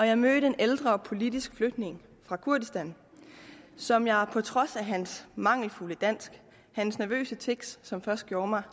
jeg mødte en ældre politisk flygtning fra kurdistan som jeg på trods af hans mangelfulde dansk nervøse tics som først gjorde mig